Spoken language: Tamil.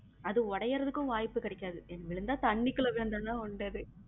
அது உடையறதுக்கும் வாய்ப்பு கிடைக்காது விழுந்தா தண்ணிக்குள்ள விழுந்தா தான் உண்டு அது